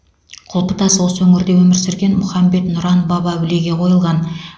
құлпытас осы өңірде өмір сүрген мұхаммед нұран баб әулиеге қойылған